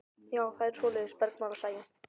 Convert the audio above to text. Já, það er svoleiðis, bergmálar Sæunn.